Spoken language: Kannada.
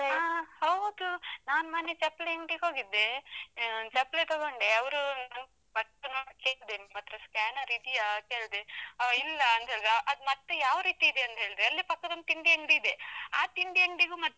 ಆ ಹೌದು ನಾನ್ ಮೊನ್ನೆ ಚಪ್ಲಿ ಅಂಗ್ಡಿಗೆ ಹೋಗಿದ್ದೆ, ಆ ಚಪ್ಲಿ ತಗೊಂಡೆ ಅವರು, ನಾನ್ first ನಾನ್ ಕೇಳ್ದೆ ನಿಮ್ಮತ್ರ scanner ಇದಿಯಾ ಕೇಳ್ದೆ, ಅವ ಇಲ್ಲ ಅಂತ ಹೇಳಿದ, ಅದ್ ಮತ್ತೆ ಯಾವ ರೀತಿ ಇದೆ ಅಂತ ಹೇಳ್ದೆ, ಅಲ್ಲೇ ಪಕ್ಕದೊಂದು ತಿಂಡಿ ಅಂಗ್ಡಿ ಇದೆ ಆ ತಿಂಡಿ ಅಂಗಡಿಗೂ.